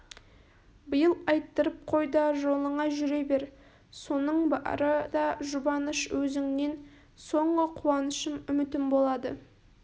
биыл айттырып қой да жолыңа жүре бер соның бары да жұбаныш өзіңнен соңғы қуанышым үмітім болады